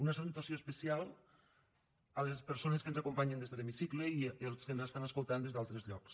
una salutació especial a les persones que ens acompanyen des de l’hemicicle i als que ens estan escoltant des d’altres llocs